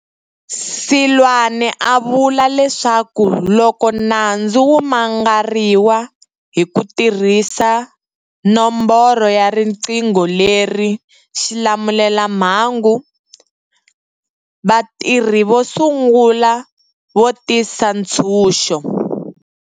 Seloane u vula leswaku loko nandzu wu mangariwa hi ku tirhisa nomboro ya riqingho leri xilamulelamhangu, vatirhi vo sungula vo tisa ntshunxo.